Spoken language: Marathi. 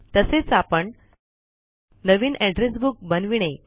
तसेच आपण नवीन एड्रेस बुक बनविणे